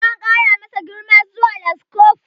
Jatau an kara masa girma zuwa laskofur